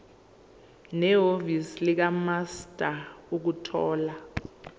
nehhovisi likamaster ukuthola